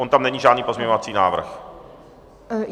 On tam není žádný pozměňovací návrh?